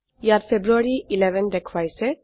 ইয়াত ফেব্ৰুয়াৰী 11 দেখাইছে